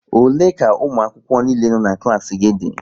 Ole ka ụmụakwụkwọ niile no̼ na klaasị gị dị?